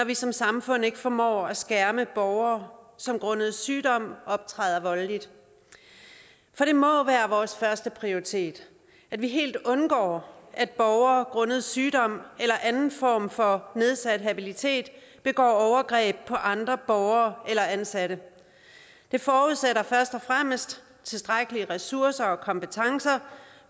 vi som samfund ikke formår at skærme borgere som grundet sygdom optræder voldeligt for det må være vores førsteprioritet at vi helt undgår at borgere grundet sygdom eller anden form for nedsat habilitet begår overgreb på andre borgere eller ansatte det forudsætter først og fremmest tilstrækkelige ressourcer og kompetencer